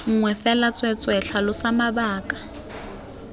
nngwe fela tsweetswee tlhalosa mabaka